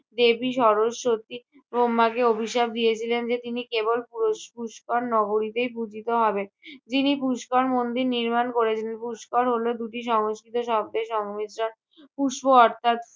দেবী সরস্বতী ব্রহ্মাকে অভিশাপ দিয়েছিলেন যে তিনি কেবল পুরষ~ পুষ্কর নগরীতেই পূজিত হবেন। যিনি পুষ্কর মন্দির নির্মাণ করেছিলেন। পুষ্কর হলো দুটি সংস্কৃত শব্দের সংমিশ্রণ। পুষ্প অর্থাৎ